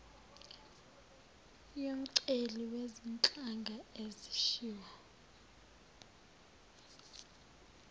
yomceli wezinhlanga ezishiwo